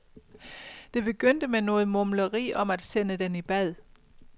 Det begyndte med noget mumleri om at sende den i bad.